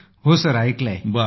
होय मी ऐकलं आहे सर